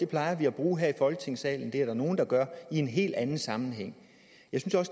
plejer vi at bruge her i folketingssalen eller det er der nogle der gør i en helt anden sammenhæng